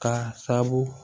K'a sabu